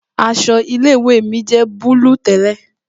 Aṣọ ilé ìwé mi jẹ́ búlúù tẹ́lẹ̀